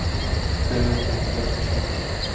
Hver veit hvað mun gerast í sumar?